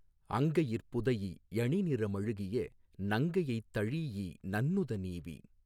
அங்கையிற் புதைஇ யணிநிற மழுகிய நங்கையைத் தழீஇ நன்னுத னீவி